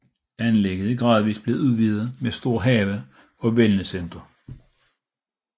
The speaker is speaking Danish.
Anlægget er gradvist blevet udvidet med stor have og wellnesscenter